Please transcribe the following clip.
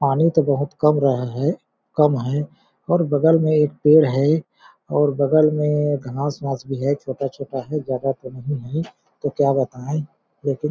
पानी तो बहुत कम रहा है कम है और बगल में एक पेड़ है और बगल में घास बास भी है छोटा-छोटा है ज्यादा तो नहीं है तो क्या बताएं लेकिन--